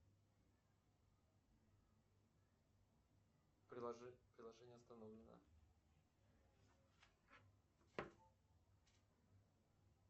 приложение остановлено